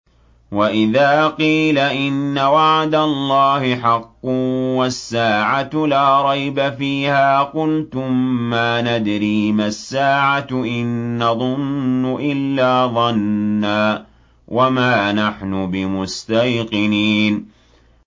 وَإِذَا قِيلَ إِنَّ وَعْدَ اللَّهِ حَقٌّ وَالسَّاعَةُ لَا رَيْبَ فِيهَا قُلْتُم مَّا نَدْرِي مَا السَّاعَةُ إِن نَّظُنُّ إِلَّا ظَنًّا وَمَا نَحْنُ بِمُسْتَيْقِنِينَ